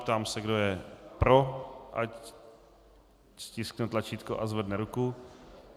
Ptám se, kdo je pro, ať stiskne tlačítko a zvedne ruku.